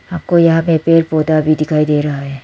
हमको यहां पे पेड़ पौधा भी दिखाई दे रहा है।